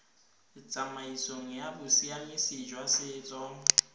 tsamaisong ya bosiamisi jwa setso